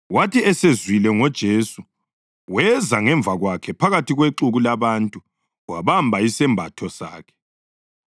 Wathi esezwile ngoJesu, weza ngemva kwakhe phakathi kwexuku labantu wabamba isembatho sakhe,